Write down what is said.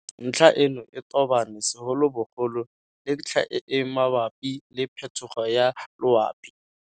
Ntlha eno e tobane segolobogolo le ntlha e e mabapi le phetogo ya loapi.